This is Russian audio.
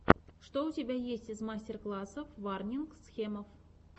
что у тебя есть из мастер классов варнинг схемов